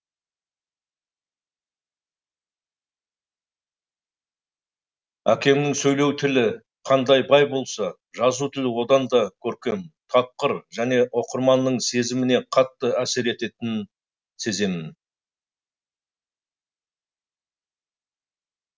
әкемнің сөйлеу тілі қандай бай болса жазу тілі одан да көркем тапқыр және оқырманның сезіміне қатты әсер ететінін сеземін